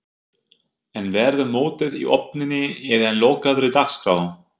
En verður mótið í opinni eða lokaðri dagskrá?